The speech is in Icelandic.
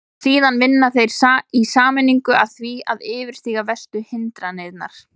Síðan vinna þeir í sameiningu að því að yfirstíga verstu hindranirnar.